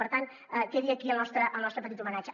per tant que quedi aquí el nostre petit homenatge